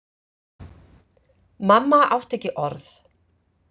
Mamma átti ekki orð.